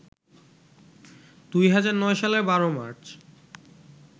২০০৯ সালের ১২ মার্চ